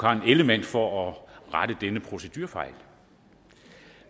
karen ellemann for at rette denne procedurefejl